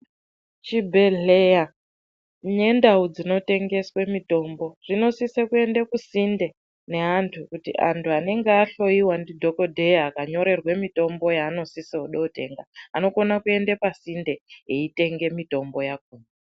Zvibhehleya nendau dzinotengeswa mitombo zvinosise kuinde kusinde neantu anenge ahloyiwa ndidhokoteya anonyorerwe mitombo yaanosiye kuda kutenga anokona kuinda masinde eyitenge mitombo yakoma